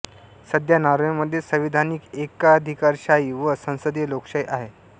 सध्या नॉर्वेमध्ये संविधानिक एकाधिकारशाही व सांसदीय लोकशाही आहे